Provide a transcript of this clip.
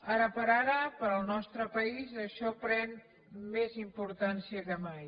ara per ara per al nostre país això pren més importància que mai